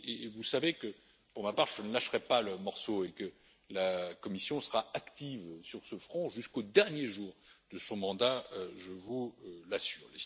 Vous savez que, pour ma part, je ne lâcherai pas le morceau et que la Commission sera active sur ce front jusqu'au dernier jour de son mandat, je vous l'assure.